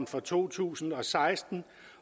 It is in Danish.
for to tusind og seksten